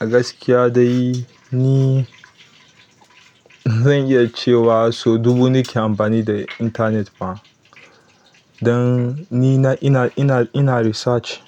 Gaskiya dai ni zan iya cewa sau dubu nake amfani da intanet ma. Dan ni ina, ina, ina, ina research,